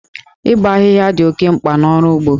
Ịbọ ahịhịa dị oke mkpa n'ọrụ ugbo.